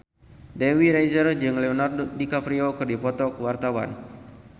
Dewi Rezer jeung Leonardo DiCaprio keur dipoto ku wartawan